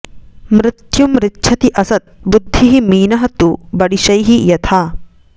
मृत्युम् ऋच्छति असत् बुद्धिः मीनः तु बडिशैः यथा